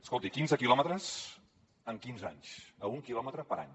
escolti quinze quilòmetres en quinze anys a un quilòmetre per any